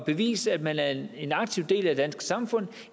bevise at man er en aktiv del af det danske samfund